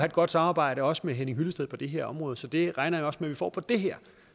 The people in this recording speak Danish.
et godt samarbejde også med herre henning hyllested på det her område så det regner jeg også med at vi får på det her